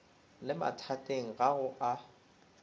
le mathateng ga go a